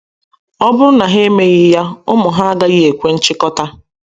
Ọ bụrụ na ha emeghị ya, ụmụ ha agaghị ekwe nchịkota.